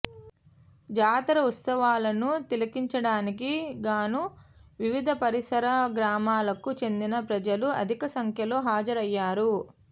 జాతర ఉత్స వాలను తిలకించడానికి గాను వివిధ పరిసర గ్రామాలకు చెందిన ప్రజలు అధిక సంఖ్యలో హాజరయ్యారు